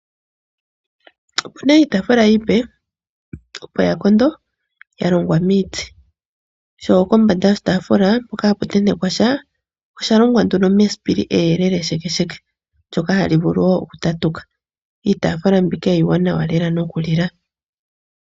Opuna iitaafula iipe opo yakondo yalongwa miiti ko kombanda yoshitaafula hoka haku tentekwa osha longwa nduno mesipili eyelele sheke ndjoka hali vulu woo okutatuka. Iitaafula mbika iiwanawa noku lila.